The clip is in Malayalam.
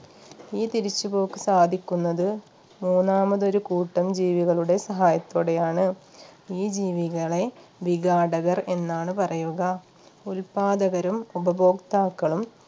ഈ തിരിച്ചുപോക്ക് സാധിക്കുന്നത് മൂന്നാമതൊരു കൂട്ടം ജീവികളുടെ സഹായത്തോടെയാണ് ഈ ജീവികളെ വിഘാടകർ എന്നാണ് പറയുക ഉൽപാദകരും ഉപഭോക്താക്കളും